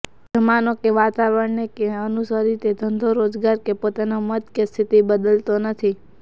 જમાનો કે વાતાવરણને અનુસરી તે ધંધો રોજગાર કે પોતાનો મત કે સ્થિતિ બદલતો નથી